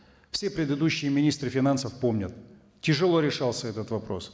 все предыдущие министры финансов помнят тяжело решался этот вопрос